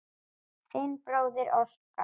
Þinn bróðir Óskar.